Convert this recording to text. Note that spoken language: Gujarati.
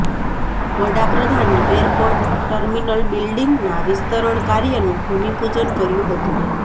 વડાપ્રધાને એરપોર્ટ ટર્મિનલ બિલ્ડીંગના વિસ્તરણ કાર્યનું ભૂમિપૂજન કર્યું હતું